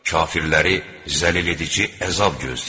Kafirləri zəlil edici əzab gözləyir.